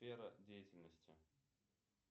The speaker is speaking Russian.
сфера деятельности